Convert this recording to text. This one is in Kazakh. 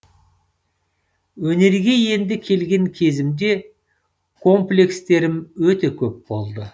өнерге енді келген кезімде комплекстерім өте көп болды